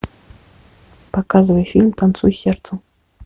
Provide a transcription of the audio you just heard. показывай фильм танцуй сердцем